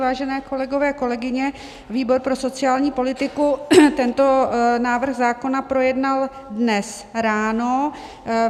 Vážení kolegové, kolegyně, výbor pro sociální politiku tento návrh zákona projednal dnes ráno.